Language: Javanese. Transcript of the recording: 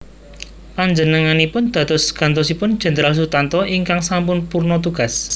Panjenenganipun dados gantosipun Jenderal Sutanto ingkang sampun purna tugas